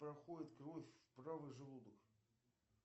проходит кровь в правый желудок